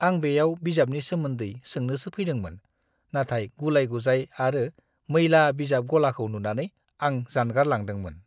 आं बेयाव बिजाबनि सोमोन्दै सोंनोसो फैदोंमोन; नाथाय गुलाय-गुजाय आरो मैला बिजाब गलाखौ नुनानै आं जानगारलांदोंमोन!